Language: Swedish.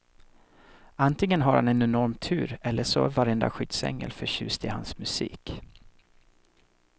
Antingen har han en enorm tur eller så är varenda skyddsängel förtjust i hans musik.